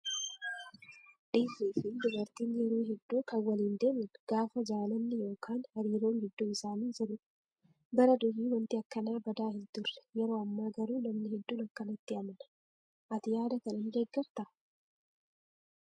Dhiirrii fi dubarri yeroo hedduu kan waliin deeman gaafa jaalalli yookaan hariiroon gidduu isaanii jirudha. Bara durii wanti akkanaa badaa hin turre yeroo ammaa garuu namni hedduun kanatti amana . Ati yaada kana ni deeggartaa?